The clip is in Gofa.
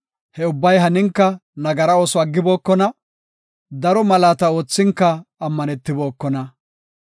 He ubbay haninka nagara ooso aggibokona; daro malaata oothinka ammanibookona.